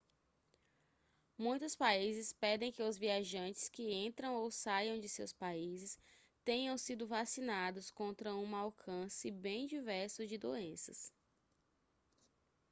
muitos países pedem que os viajantes que entram ou saiam de seus países tenham sido vacinados contra uma alcance bem diverso de doenças